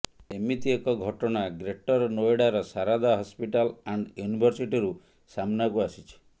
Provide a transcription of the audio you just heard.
ଏମିତି ଏକ ଘଟଣା ଗ୍ରେଟର ନୋଏଡାର ସାରଦା ହସ୍ପିଟାଲ୍ ଆଣ୍ଡ ୟୁନିଭର୍ସିଟିରୁ ସାମ୍ନାକୁ ଆସିଛି